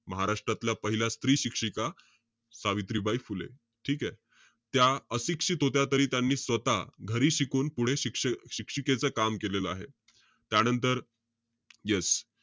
महाराष्ट्रातल्या पहिल्या स्त्री शिक्षिका, सावित्रीबाई फुले. ठीकेय? त्या अशिक्षित होत्या तरी त्यांनी स्वतः घरी शिकून पुढे शिक~ शिक्षिकेच काम केलेलं आहे. त्यानंतर, yes.